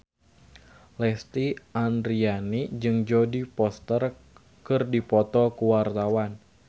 Lesti Andryani jeung Jodie Foster keur dipoto ku wartawan